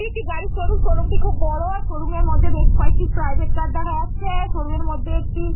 এটি একটি গাড়ির শোরুম । শোরুমটি খুব বড়। শোরুমের মধ্যে বেশ কয়েকটি প্রাইভেট কার দেখা যাচ্ছে। শোরুমের মধ্যে একটি।